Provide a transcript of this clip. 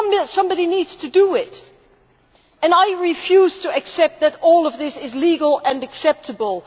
Somebody needs to do it and I refuse to accept that all of this is legal and acceptable.